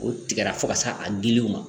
O tigɛra fo ka se a dili ma